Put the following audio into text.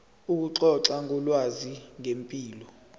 ukuxoxa ngolwazi ngempilo